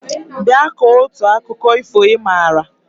Bịa kọọ otu akụkọ ifo ị maara!